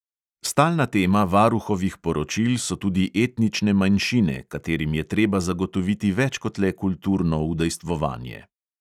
Stalna tema varuhovih poročil so tudi etnične manjšine, katerim je treba zagotoviti več kot le kulturno udejstvovanje.